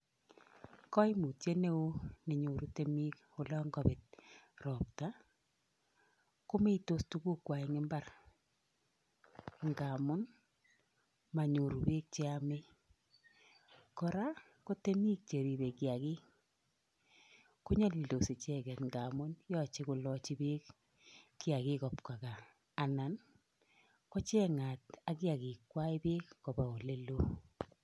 Koimutiet neo nenyoru temik olonkabet ropta, komeitos kugukwa eng mbar nka amun manyoru beek cheyamei. Kora, ko temik cheripei kiakik, konyalildos icheket nka amun yochei kolachi beek kiakik kobwa kaa, anan kocheng'at ak kiakikwai beek kopa oleloo.